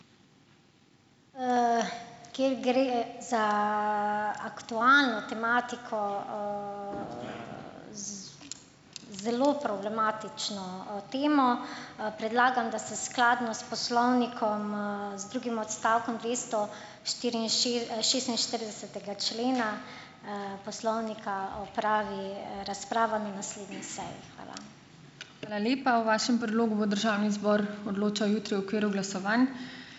Ker gre za aktualno tematiko, zelo problematično, temo, predlagam, da se skladno s poslovnikom, z drugim odstavkom dvesto šestinštiridesetega člena, poslovnika opravi razprava na naslednji seji. Hvala.